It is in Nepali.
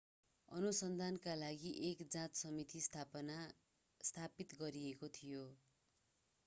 अनुसन्धानका लागि एक जाँच समिति स्थापित गरिएको थियो